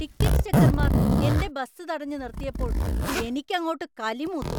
Ticket ചെക്കർമാർ എന്‍റെ bus തടഞ്ഞ് നിർത്തിയപ്പോൾ എനിക്ക് അങ്ങോട്ട് കലി മൂത്തു.